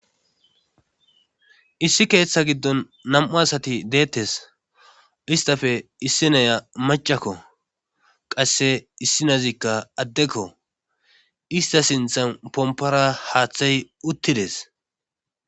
issi keeththa giddon nam7u asati deettes istafe issinaya macakko qasse issinazikka addekko ista sinthan pompora haaththay uttides